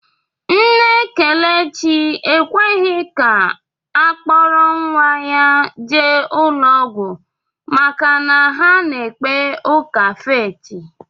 Nne Kelechi ekweghị ka a kpọrọ nnwa ya jee ụlọọgwụ maka na ha na-ekpe ụka fééti